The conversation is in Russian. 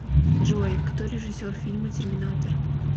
джой кто режиссер фильма терминатор